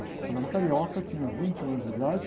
Ela era uma carioca, tinha vinte e um anos de idade.